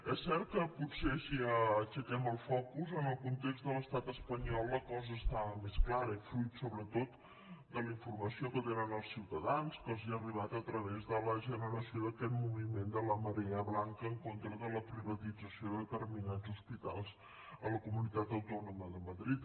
és cert que potser si aixequem el focus en el context de l’estat espanyol la cosa està més clara i fruit sobretot de la informació que tenen els ciutadans que els ha arribat a través de la generació d’aquest moviment de la marea blanca en contra de la privatització de determinats hospitals a la comunitat autònoma de madrid